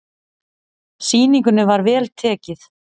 Sýningunni var vel tekið.